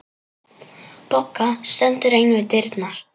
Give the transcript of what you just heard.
Bogga stendur ein við dyrnar.